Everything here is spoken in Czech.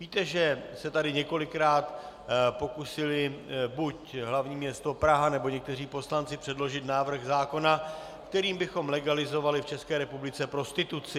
Víte, že se tady několikrát pokusili buď hlavní město Praha, nebo někteří poslanci předložit návrh zákona, kterým bychom legalizovali v České republice prostituci.